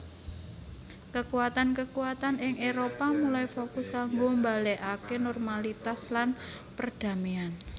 Kekuatan kekuatan ing Éropah mulai fokus kanggo balikaké normalitas lan perdaméan